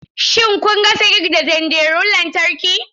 Shin kun gasa kek da tanderun lantarki?